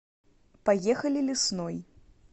поехали лесной